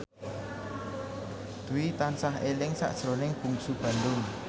Dwi tansah eling sakjroning Bungsu Bandung